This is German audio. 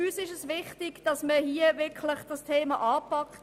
Uns ist es wichtig, dass man dieses Thema nun wirklich anpackt.